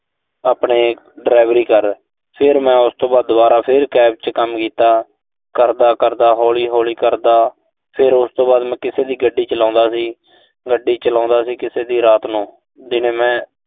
ਆਪਣੇ delivery ਕਰ। ਫਿਰ ਮੈਂ ਦੁਬਾਰਾ, ਉਸ ਤੋਂ ਬਾਅਦ ਦੁਬਾਰਾ ਫਿਰ cab ਚ ਕੰਮ ਕੀਤਾ। ਕਰਦਾ-ਕਰਦਾ, ਹੌਲੀ-ਹੌਲੀ ਕਰਦਾ ਫਿਰ ਉਸ ਤੋਂ ਬਾਅਦ ਮੈਂ ਕਿਸੇ ਦੀ ਗੱਡੀ ਚਲਾਉਂਦਾ ਸੀ। ਗੱਡੀ ਚਲਾਉਂਦਾ ਸੀ ਕਿਸੇ ਦੀ ਰਾਤ ਨੂੰ, ਦਿਨੇ ਮੈਂ